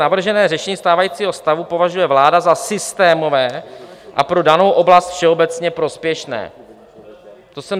"Navržené řešení stávajícího stavu považuje vláda za systémové a pro danou oblast všeobecně prospěšné."